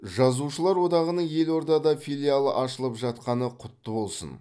жазушылар одағының елордада филиалы ашылып жатқаны құтты болсын